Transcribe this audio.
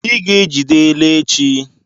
I ga-ejide ele nchi!